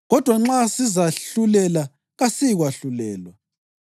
Kodwa nxa sizahlulela kasiyikwahlulelwa.